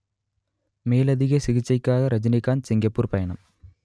மேலதிக சிகிச்சைக்காக ரஜினிகாந்த் சிங்கப்பூர் பயணம்